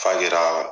Fajiri